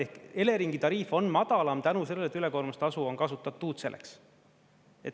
Ehk Eleringi tariif on madalam tänu sellele, et ülekoormustasu on kasutatud selleks.